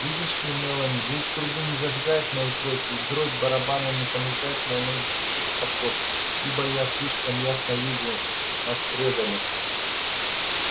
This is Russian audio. видишь ли мелани звук трубы не зажигает мою кровь и дробь барабана не понуждает мои ноги спешить в поход ибо я слишком ясно вижу нас предали